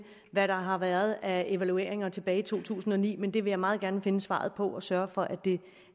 hvad der har været af evalueringer tilbage i to tusind og ni men det vil jeg meget gerne finde svaret på og sørge for